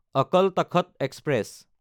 Akal Takht express